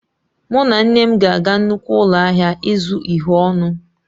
Mụ na nne m ga-aga nnukwu ụlọ ahịa ịzụ uhie ọnụ.